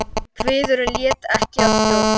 En kviðurinn lét ekki að stjórn.